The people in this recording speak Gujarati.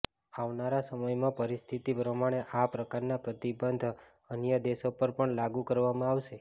આવનારા સમયમાં પરિસ્થિતિ પ્રમાણે આ પ્રકારના પ્રતિબંધ અન્ય દેશો પર પણ લાગૂ કરવામાં આવશે